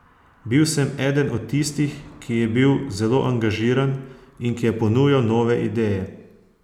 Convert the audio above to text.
Bil sem eden od tistih, ki je bil zelo angažiran in ki je ponujal nove ideje.